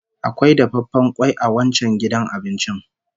Akwai dafaffen kwai a wancan gidan abincin